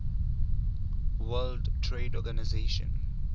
world trade organization